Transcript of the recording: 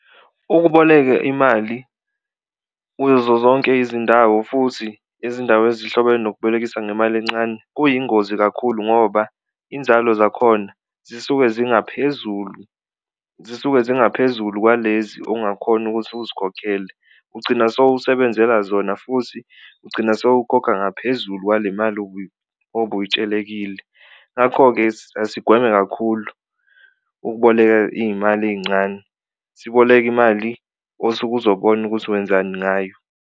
Ukuboleka imali kuzo zonke izindawo futhi izindawo ezihlobene nokubolekisa ngemali encane kuyingozi kakhulu ngoba inzalo zakhona zisuke zingaphezulu, zisuke zingaphezulu kwalezi ongakhona ukuthi uzikhokhele ugcina sewusebenzela zona futhi ugcina sowukhokha ngaphezulu kwale mali obuyitshelekile. Ngakho-ke, asigweme kakhulu ukuboleka iy'mali ey'ncane siboleke imali osuke uzobona ukuthi wenzani ngayo.